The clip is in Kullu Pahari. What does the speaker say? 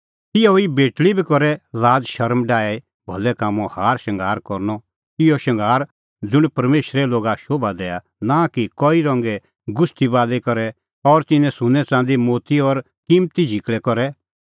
तिहअ ई बेटल़ी बी करै लाज़शरम डाही भलै कामों हार शंगार करनअ इहअ शंगार ज़ुंण परमेशरे लोगा शोभा दैआ नां कि कई रंगे गुछ़टी बाली करै और सुन्नैं च़ंदी मोती और किम्मती झिकल़ै करै